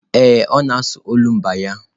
Ee, ọ na-asụ olumba ya.